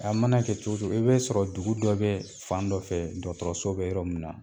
A mana kɛ cogo cogo i be sɔrɔ dugu dɔ bɛ fan dɔ fɛ dɔkɔtɔrɔso bɛ yɔrɔ min na